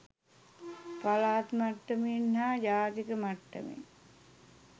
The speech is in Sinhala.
පළාත් මට්ටමෙන් හා ජාතික මට්ටමෙන්